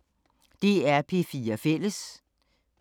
DR P4 Fælles